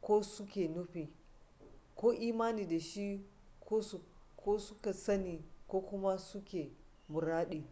ko su ke nufi ko imani da shi ko su ka sani ko kuma su ke muradi